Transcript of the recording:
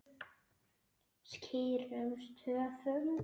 Skýrum stöfum.